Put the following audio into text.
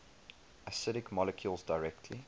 acidic molecules directly